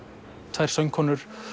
tvær söngkonur